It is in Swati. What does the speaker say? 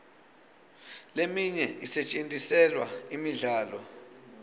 leminye isetjentiselwa imidlalo